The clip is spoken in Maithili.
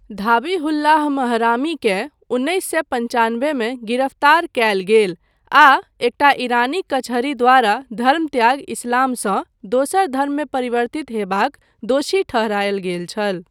धाबीहुल्लाह महरामीकेँ उन्नैस सए पञ्चानबेमे गिरफ्तार कयल गेल आ एकटा ईरानी कचहरी द्वारा धर्मत्याग इस्लामसँ दोसर धर्ममे परिवर्तित होयबाक दोषी ठहरायल गेल छल।